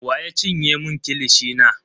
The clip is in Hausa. Wa ya cinye mun kilishi na?